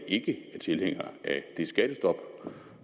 ikke tilhængere af det skattestop